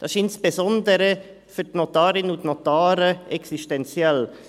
Das ist insbesondere für die Notarinnen und Notare existenziell.